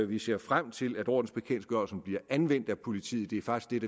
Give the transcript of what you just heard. vi ser frem til at ordensbekendtgørelsen bliver anvendt af politiet det er faktisk